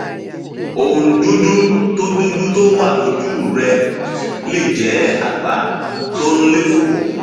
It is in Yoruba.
ohun dúdú tó dúdú tó wà lójú rẹ lè jẹ àgbá tó ń léfòó